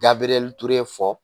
fɔ